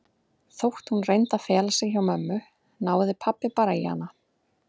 Þótt hún reyndi að fela sig hjá mömmu náði pabba bara í hana.